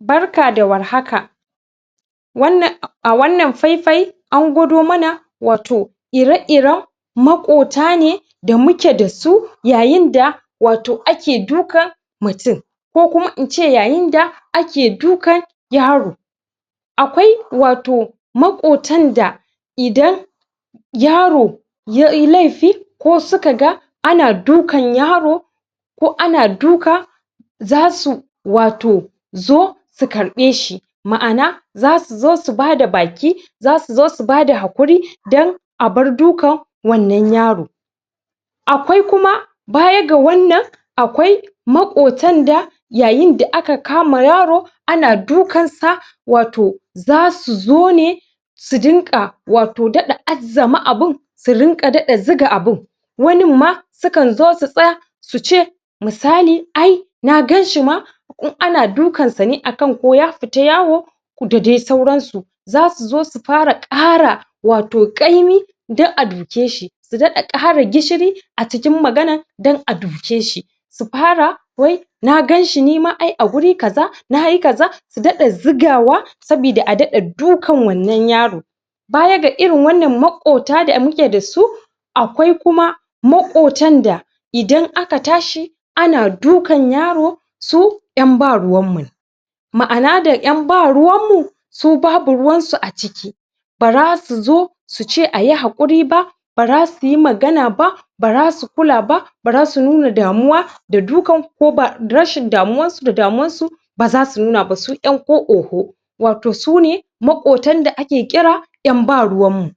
barkada war haka wnnan a a wannan faifai an gwado mana wato ire iren maƙotane da muke dasu yayinda wato ake duka mutun ko kuma ince yayinda akedukan yaro akwai wato ma ƙotanda idan yaro yayi laifi ko suka ga ana dukan yaro ko ana duka zasu wato zo ta karɓe shi ma'ana zasu zosu bada baki zasu zosu bada hakuki a bar dukan wannan yaro akwai kuma baya ga wannan akwai ma ƙotanda yayin da aka kama yaro ana dukan sa wato zasu zone su din ƙa wato daɗa azzama abun da rinƙa zuga abun wannin ma sukan zosu suce misali ai na ganshi ma in ana dukansa ne akan koya fita yawo da dai sauransu zasu zo fara ƙara wato ƙaimi dan aduke shi su dada kara gishiri acikin maganan dan aduke shi su fara wai na gan shi nima ai aguri kaza nayi kaza su daɗa zugawa sabida adaɗa dukan wannan yarin baya ga irin wannan makota da muke dasu akwai kuma maƙotanda idan aka tashi ana dukan yaro su ƴan baruwan mune ma'ana da ƴan baruwan mu subabu ruwansu aciki bara suzo suce ayi ha ƙuri ba bara su suyi magana ba bara su kula ba barasu nuna damuwa da dukan ko ba rashin damuwansu da damuwansu baza su nuna ba su ƴan ko oho wato sune ma ƙan da ake kira ƴan baruwan mu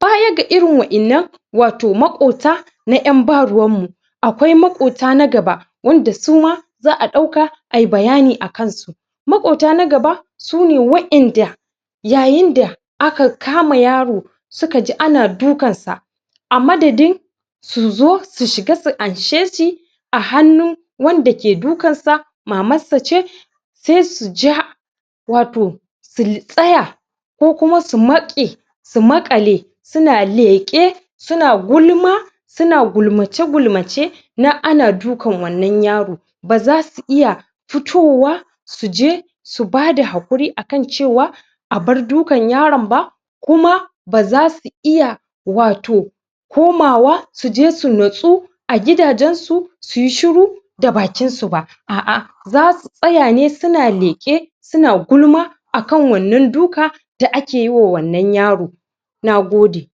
bayaga irin waƴannan wato maƙota yan ba ruwan mu akwai ma ƙota nagaba wanda suma za'a ɗauka ayi bayani akan su maɗota nagaba sune waƴanda yayinda kama yaro sukaji ana dukansa amadadin su zo su shiga su anshe shi a hannun wanda ke dukan sa maman sace sai suja wato su tsaya kokuma su maƙe eu maƙale suna leƙe suns gulma suna gulmace gulmace na ana dukan wannan yaron bazasu iya fitowa suje subada haƙuri akan cewa abar dukan yaron ba kuma bazasu iya wato komawa suje sunatsu agida jen su suyi shiru dabakinsu ba a'a zasu tsayane suna leƙe suna gulma akan wannan duka da akeyi wa wannan yaron nagode